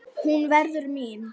Hún verður mín.